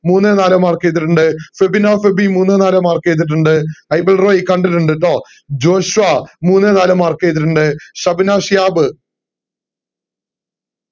മൂന്ന് നാല് mark ചെയ്തിറ്റിണ്ട് ഫെബിന ഫെബി മൂന്ന് നാല് mark ചെയ്തിറ്റിണ്ട് ഐബൽ റോയ്‌ കണ്ടിട്ടിണ്ട് ട്ടോ ജോഷുവ മൂന്ന് നാല് mark ചെയ്തിറ്റിണ്ട് ഷബ്‌ന ശിഹാബ്